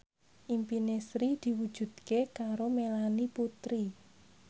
impine Sri diwujudke karo Melanie Putri